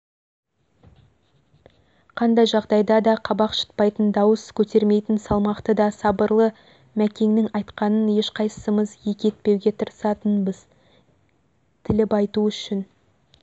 қандай жағдайда да қабақ шытпайтын дауыс көтермейтін салмақты да сабырлы мәкеңнің айтқанын ешқайсымыз екі етпеуге тырысатынбызтіліп айту үшін